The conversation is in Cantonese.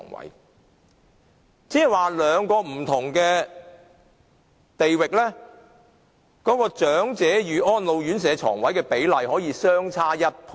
換句話說，兩個不同地區的長者與安老院舍床位的比例可以相差1倍。